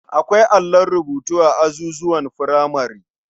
Akwai allon rubutu a azuzuwan furamare.